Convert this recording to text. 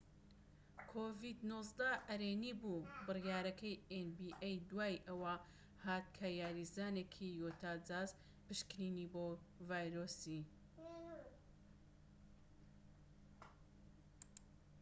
بڕیارەکەی ئێن بی ئەی دوای ئەوە هات کە یاریزانێکی یوتا جاز پشکنینی بۆ ڤایرۆسی‎ کۆڤید-19 ئەرێنی بوو‎